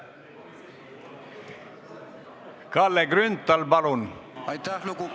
Kalle Grünthal, palun!